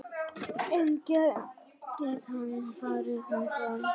En gæti hann farið þangað?